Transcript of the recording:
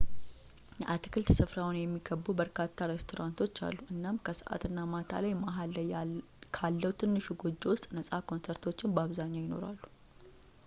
የአትክልት ስፍራውን የሚከቡ በርካታ ሬስቶራንቶች አሉ እናም ከሰዓት እና ማታ ላይ መሃል ላይ ካለው ትንሹ ጎጆ ውስጥ ነጻ ኮንሰርቶች በአብዛኛው ይኖራሉ